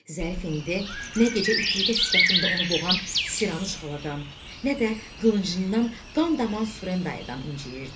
Zərif indi nə gecə ifritə sifətində onu boğan Siranış xaladan, nə də qılıncından qan daman Surendaydan incəyirdi.